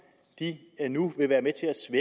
nu vil være med